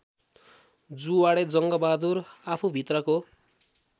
जुवाडे Jangbahadur आफूभित्रको